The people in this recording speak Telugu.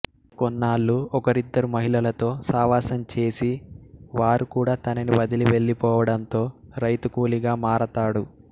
కొన్నాళ్ళు ఒకరిద్దరు మహిళలతో సావాసం చేసి వారు కూడా తనని వదిలి వెళ్లిపోవడంతో రైతుకూలిగా మారతాడు